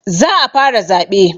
Za a fara zaɓe